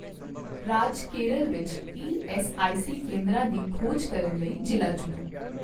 ਰਾਜ ਕੇਰਲ ਵਿੱਚ ਈਐੱਸਆਈਸੀ ਕੇਂਦਰਾਂ ਦੀ ਖੋਜ ਕਰਨ ਲਈ ਜ਼ਿਲ੍ਹਾ ਚੁਣੋ